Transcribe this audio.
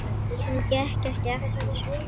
Hún gekk ekki aftur.